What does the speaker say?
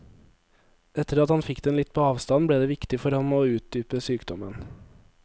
Etter at han fikk den litt på avstand, ble det viktig for ham å utdype sykdommen.